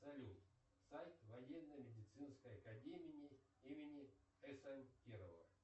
салют сайт военно медицинской академии имени см кирова